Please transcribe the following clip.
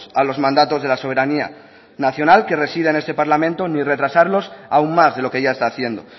a los mandatos de la soberanía nacional que reside en este parlamento ni retrasarlos aún más de lo que ya está haciendo